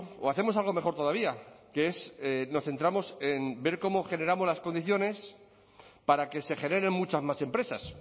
o hacemos algo mejor todavía que es nos centramos en ver cómo generamos las condiciones para que se generen muchas más empresas